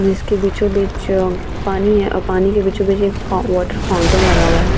जिसके बीचो-बीच अ पानी है और पाने के बीचो-बीच एक फो वाटर फाउंटेन लगा हुआ है।